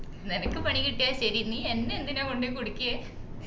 നിനക്ക് പണി കിട്ടിയാൽ ശെരി നീ എന്നെ എന്തിനാ കൊണ്ടോയി കുടുക്കിയെ